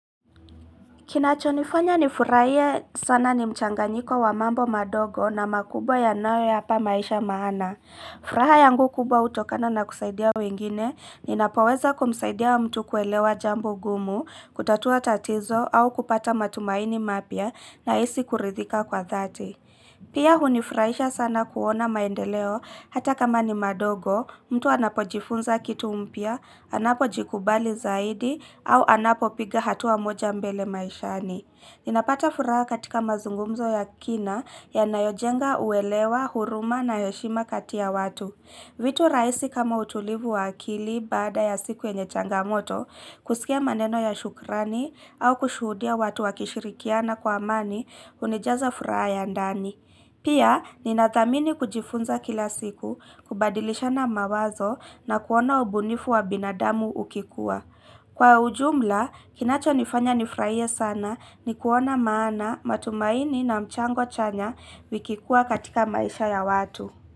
Kinachonifanya ni furaie sana ni mchanganyiko wa mambo madogo na makubwa ya nayo yapa maisha maana. Furaha yangu kubwa utokana na kusaidia wengine ni napoweza kumsaidia wa mtu kuelewa jambo gumu, kutatua tatizo au kupata matumaini mapia na isi kuridhika kwa dhati. Pia hunifraisha sana kuona maendeleo hata kama ni madogo, mtu anapo jifunza kitu mpia, anapo jikubali zaidi au anapo piga hatua moja mbele maishani. Ninapata furaha katika mazungumzo ya kina ya nayojenga uelewa, huruma na heshima kati ya watu. Vitu rahisi kama utulivu wa akili bada ya siku yenye changamoto, kusikia maneno ya shukrani au kushudia watu wa kishirikiana kwa amani, hunijaza furaha ya ndani. Pia, ninathamini kujifunza kila siku kubadilisha na mawazo na kuona ubunifu wa binadamu ukikuwa. Kwa ujumla, kinacho nifanya nifraie sana ni kuona maana matumaini na mchango chanya vikikuwa katika maisha ya watu.